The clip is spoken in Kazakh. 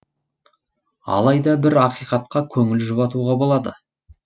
алайда бір ақиқатқа көңіл жұбатуға болады